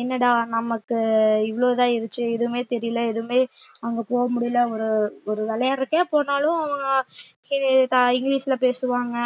என்னடா நமக்கு இவ்வளவுதான் எதுவுமே தெரியலே எதுவுமே அங்க போக முடியல ஒரு ஒரு விளையாடுறதுக்கே போனாலும் இங்கிலிஷ்ல பேசுவாங்க